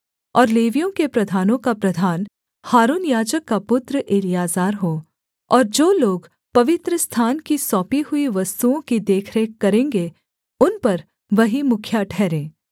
और लेवियों के प्रधानों का प्रधान हारून याजक का पुत्र एलीआजर हो और जो लोग पवित्रस्थान की सौंपी हुई वस्तुओं की देखरेख करेंगे उन पर वही मुखिया ठहरे